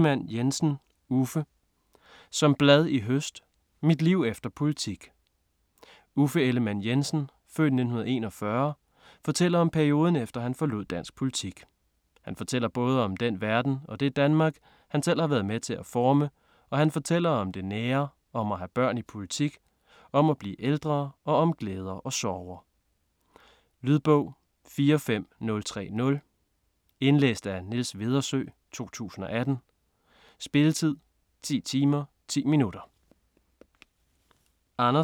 Ellemann-Jensen, Uffe: Som blad i høst: mit liv efter politik Uffe Ellemann-Jensen (f. 1941) fortæller om perioden efter han forlod dansk politik. Han fortæller både om den verden - og det Danmark - han selv har været med til at forme, og han fortæller om det nære, om at have børn i politik, om at blive ældre og om glæder og sorger. Lydbog 45030 Indlæst af Niels Vedersø, 2018. Spilletid: 10 timer, 10 minutter.